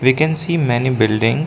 We can see many building.